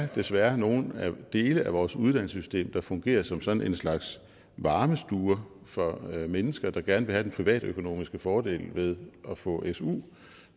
desværre er nogle dele af vores uddannelsessystem der fungerer som sådan en slags varmestue for mennesker der gerne vil have den privatøkonomiske fordel ved at få su